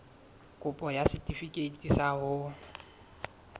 kopo ya setefikeiti sa ho